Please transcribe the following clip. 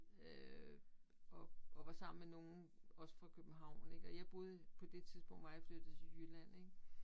Øh og og var sammen med nogen også fra København ik og jeg boede på det tidspunkt var jeg flyttet til Jylland ik